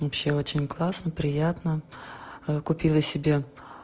вообще очень классно приятно купила себе